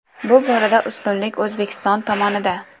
Bu borada ustunlik O‘zbekiston tomonida.